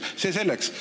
See selleks.